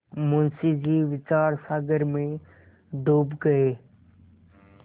मुंशी जी विचारसागर में डूब गये